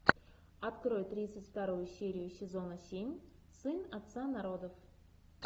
открой тридцать вторую серию сезона семь сын отца народов